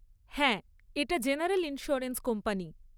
হ্যাঁ এটা general insurance company.